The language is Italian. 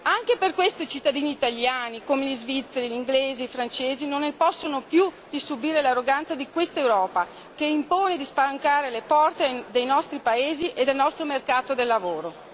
Anche per questo i cittadini italiani, come gli svizzeri, gli inglesi, i francesi, non ne possono più di subire l'arroganza di questa Europa che impone di spalancare le porte dei nostri paesi e del nostro mercato del lavoro.